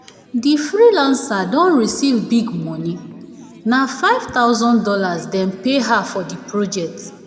di freelancer don receive big moni. na five thousand dollars dem pay her for di project